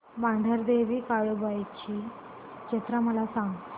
मांढरदेवी काळुबाई ची जत्रा मला सांग